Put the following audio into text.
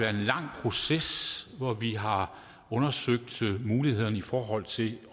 en lang proces hvor vi har undersøgt mulighederne i forhold til